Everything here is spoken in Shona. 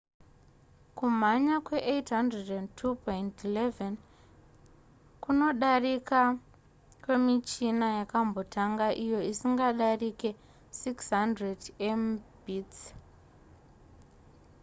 kumhanya kwe802.11n kunodarika kwemichina yakambotanga iyo isingadarike 600mbit/s